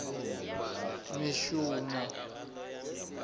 mishumo